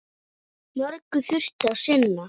Mörgu þurfti að sinna.